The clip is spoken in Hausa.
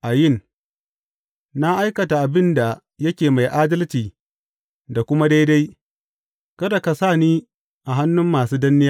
Ayin Na aikata abin da yake mai adalci da kuma daidai; kada ka ni a hannun masu danne ni.